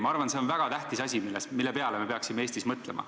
Ma arvan, et see on väga tähtis asi, mille peale me peaksime Eestis mõtlema.